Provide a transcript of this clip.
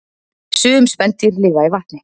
Sum spendýr lifa í vatni